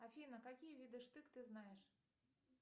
афина какие виды штык ты знаешь